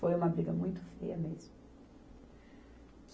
Foi uma briga muito feia mesmo.